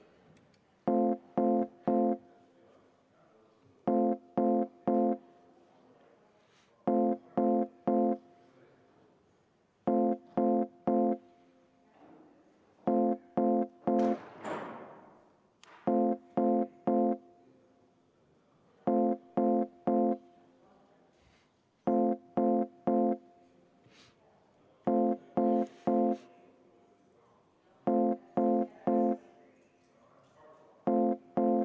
Head kolleegid, juhtivkomisjon on teinud ettepaneku eelnõu 228 lõpphääletusele panna.